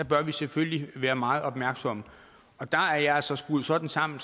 bør vi selvfølgelig være meget opmærksomme og der er jeg altså skruet sådan sammen